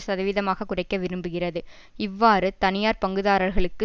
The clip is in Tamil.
சதவீதமாகக் குறைக்க விரும்புகிறது இவ்வாறு தனியார் பங்குதாரர்களுக்கு